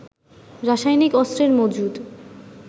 রাসায়নিক অস্ত্রের মজুত